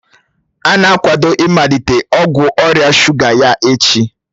Ọ na-akwado ịmalite ọgwụ ọrịa shuga ya echi